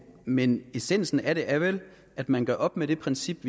men essensen af det er vel at man gør op med det princip